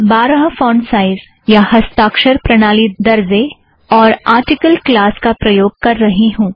मैं बारह font size या हस्ताक्षर प्रणाली दरजे और आरटिकल क्लास का प्रयोग कर रही हूँ